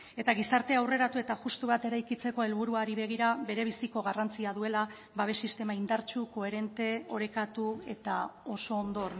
eta gizarte aurreratu eta justu bat eraikitzeko helburuari begira bere biziko garrantzia duela babes sistema indartsu koherente orekatu eta oso ondo